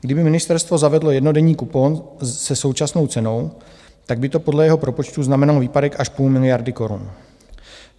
Kdyby ministerstvo zavedlo jednodenní kupon se současnou cenou, tak by to podle jeho propočtu znamenalo výpadek až půl miliardy korun.